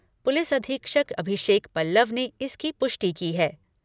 Police अधीक्षक अभिषेक पल्लव ने इसकी पुष्टि की है।